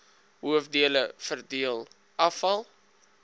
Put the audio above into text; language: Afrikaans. hoofdele verdeel afval